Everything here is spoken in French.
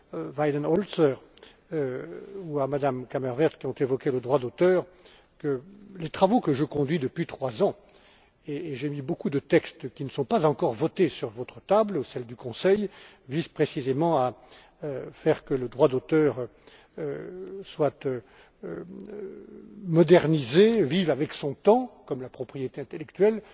à M. Weidenholzer ou à Mme Kammerevert, qui ont évoqué le droit d'auteur, que les travaux que je conduis depuis trois ans et j'ai mis beaucoup de textes, qui ne sont pas encore votés, sur votre table et celle du Conseil visent précisément à faire en sorte que le droit d'auteur soit modernisé, vive avec son temps, comme la propriété intellectuelle.